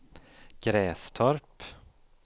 Grästorp